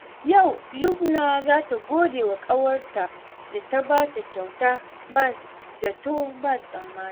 Yau, Lubna za ta gode wa ƙawarta da ta ba ta kyauta ba zato ba tsammani.